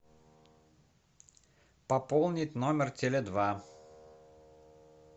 пополнить номер теле два